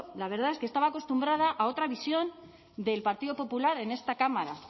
la verdad es que estaba acostumbrada a otra visión del partido popular en esta cámara